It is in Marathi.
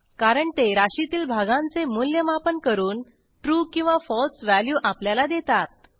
कारण ते राशीतील भागांचे मूल्यमापन करून ट्रू किंवा फळसे व्हॅल्यू आपल्याला देतात